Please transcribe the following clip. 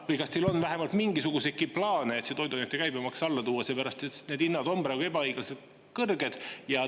Või on teil vähemalt mingisuguseidki plaane, et toiduainete käibemaks alla tuua, sellepärast et need hinnad on praegu ebaõiglaselt kõrged?